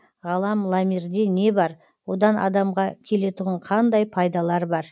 ғалам ламирде не бар одан адамға келетұғын қандай пайдалар бар